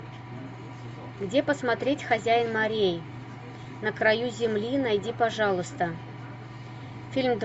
где посмотреть хозяин морей на краю земли найди пожалуйста фильм